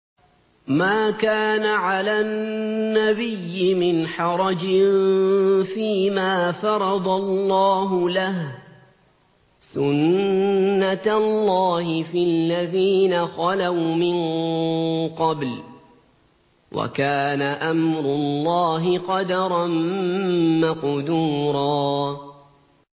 مَّا كَانَ عَلَى النَّبِيِّ مِنْ حَرَجٍ فِيمَا فَرَضَ اللَّهُ لَهُ ۖ سُنَّةَ اللَّهِ فِي الَّذِينَ خَلَوْا مِن قَبْلُ ۚ وَكَانَ أَمْرُ اللَّهِ قَدَرًا مَّقْدُورًا